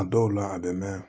A dɔw la a bɛ mɛn